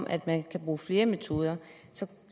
at man vil bruge flere metoder